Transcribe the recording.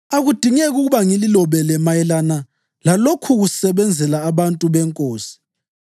Akudingeki ukuba ngililobele mayelana lalokhukusebenzela abantu beNkosi.